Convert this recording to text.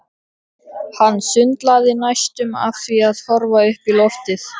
Hann sundlaði næstum af því að horfa upp í loftið.